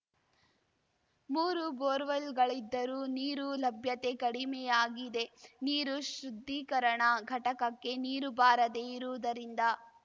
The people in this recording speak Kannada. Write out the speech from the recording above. ಮೂರು ಬೋರ್‌ವೆಲ್‌ಗಳಿದ್ದರೂ ನೀರು ಲಭ್ಯತೆ ಕಡಿಮೆಯಾಗಿದೆ ನೀರು ಶುದ್ಧೀಕರಣ ಘಟಕಕ್ಕೆ ನೀರು ಬಾರದೇ ಇರುವುದರಿಂದ